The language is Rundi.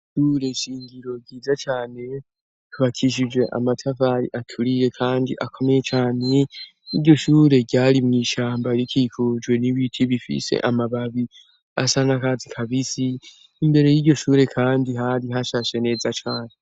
Ishure shingiro ryiza cane, ryubakishije amatafari aturiye kandi akomeye cane, iryo shure ryari mw'ishamba rikikujwe n'ibitu bifise amababi, asa n'akatsi kabisi, imbere y'iryo shure kandi hari hashashe neza cane.